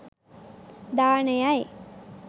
දානයයි.